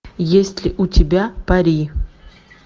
есть ли у тебя пари